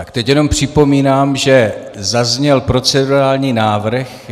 Tak teď jenom připomínám, že zazněl procedurální návrh.